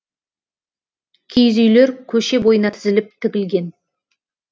киіз үйлер көше бойына тізіліп тігілген